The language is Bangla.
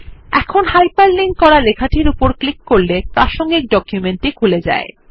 এখন হাইপার লিঙ্ক করা লেখাটির উপর ক্লিক করলে প্রাসঙ্গিক ডকুমেন্ট টি খুলে যায়